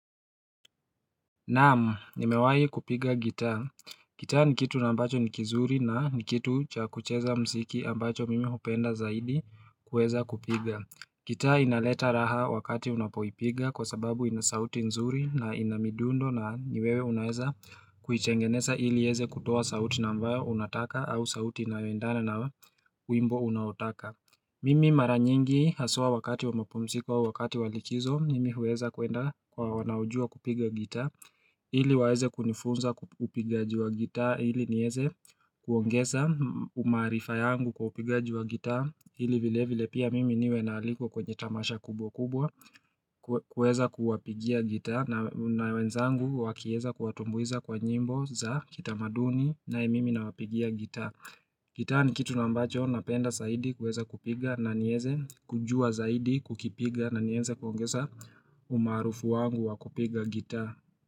Naam nimewahi kupiga gitaa. Gitaa nikitu nambacho nikizuri na nikitu cha kucheza mziki ambacho mimi hupenda zaidi kuweza kupiga. Gitaa inaleta raha wakati unapoipiga kwa sababu inasauti nzuri na inamidundo na ni wewe unaeza kuitengeneza ili iweze kutoa sauti nambayo unataka au sauti inayoendana na wimbo unaotaka. Mimi maranyingi haswa wakati wa mapumziko au wakati walikizo nimi huweza kuenda kwa wanaojua kupiga gitaq Hili waweze kunifunza upigaji wa gitaa ili nieze kuongeza umaarifa yangu kwa upigaji wa gitaa ili vile vile pia mimi niwe naaliko kwenye tamasha kubwa kubwa kuweza kuwapigia gitaa na wenzangu wakiweza kuwatumbuiza kwa nyimbo za kitamaduni naye mimi na wapigia gitaa Gitta ni kitu na ambacho napenda zaidi kuweza kupiga na niweze kujua zaidi kukipiga na niweze kuongeza umaarufu wangu wa kupiga gita.